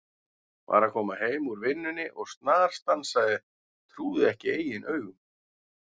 Var að koma heim úr vinnunni og snarstansaði, trúði ekki eigin augum.